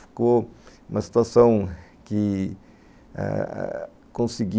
Ficou uma situação que ah ah consegui